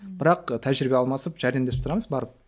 бірақ тәжірибе алмасып жәрдемдесіп тұрамыз барып